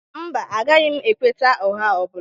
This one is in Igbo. Mba, agaghị m ekweta ụgha ọ bụla